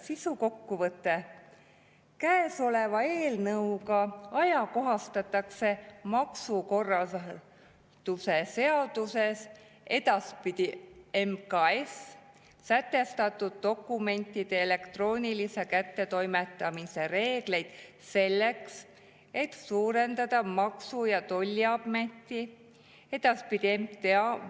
Sisukokkuvõte: käesoleva eelnõuga ajakohastatakse maksukorralduse seaduses sätestatud dokumentide elektroonilise kättetoimetamise reegleid selleks, et suurendada Maksu‑ ja Tolliameti